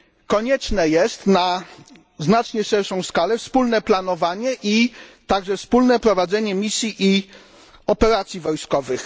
Konieczne jest na znacznie szerszą skalę wspólne planowanie i także wspólne prowadzenie misji i operacji wojskowych.